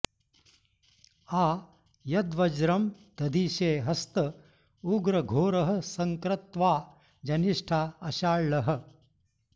आ यद्वज्रं दधिषे हस्त उग्र घोरः सन्क्रत्वा जनिष्ठा अषाळ्हः